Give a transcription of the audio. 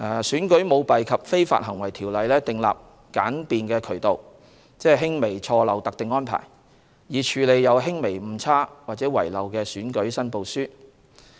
《選舉條例》訂立簡便渠道，即輕微錯漏特定安排，以處理有輕微誤差或遺漏的選舉申報書。